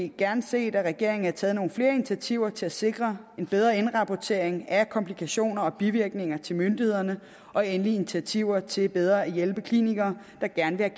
gerne set at regeringen havde taget nogle flere initiativer til at sikre en bedre indrapportering af komplikationer og bivirkninger til myndighederne og initiativer til bedre at hjælpe klinikere der gerne vil